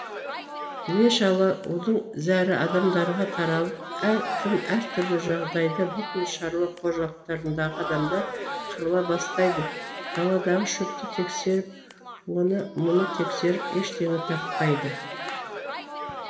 іле шала удың зәрі адамдарға таралып әр кім әр түрлі жағдайда бүкіл шаруа қожалықтарындағы адамдар қырыла бастайды даладағы шөпті тексеріп оны мұны тексеріп ештеңе таппайды